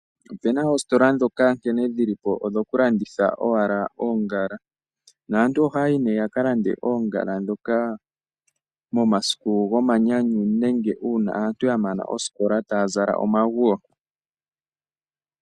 Opuna oositola ndhoka nkene dhilipo odhoku landitha owala oongala naantu ohayayi yaka lande oongala ndhoka momasiku gomanyanyu nenge uuna aantu yamana oosikola taya zala omanguyo.